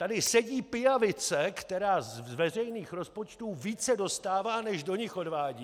Tady sedí pijavice, která z veřejných rozpočtů více dostává než do nich odvádí...